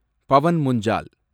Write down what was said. Pawan Munjal